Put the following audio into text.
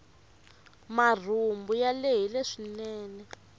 marhumbu ya lehile swinene